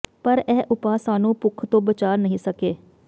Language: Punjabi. ਪਰ ਇਹ ਉਪਾਅ ਸਾਨੂੰ ਭੁੱਖ ਤੋਂ ਬਚਾ ਨਹੀਂ ਸਕੇ